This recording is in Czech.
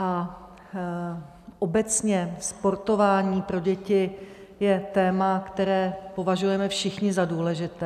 A obecně sportování pro děti je téma, které považujeme všichni za důležité.